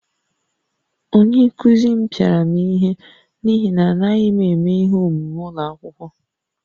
Onye nkụzi m pịara m ihe n’ihi na anaghị m eme ihe omume ụlọ akwụkwọ